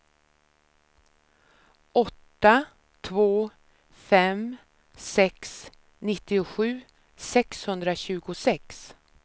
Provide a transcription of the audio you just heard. åtta två fem sex nittiosju sexhundratjugosex